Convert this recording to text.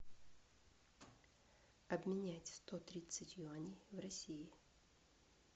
обменять сто тридцать юаней в россии